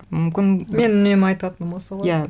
мүмкін менің үнемі айтатыным осы ғой иә